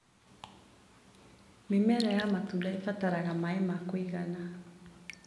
Mĩmera ya matunda ĩrabatara maĩ ma kũigana.